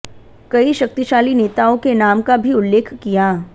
कई शक्तिशाली नेताओं के नाम का भी उल्लेख किया